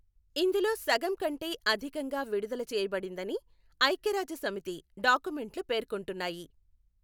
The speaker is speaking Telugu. ఇందులో సగం కంటే అధికంగా విడుదల చేయబడిందని ఐఖ్యరాజ్యసమితి డాక్యుమెంట్లు పేర్కొంటున్నాయి.